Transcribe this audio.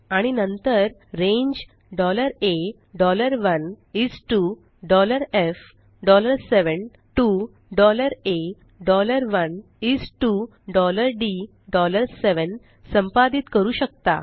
आणि नंतर range A1 is to F7 to A1 is to D7 संपादित करू शकता